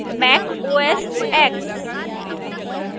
mac osx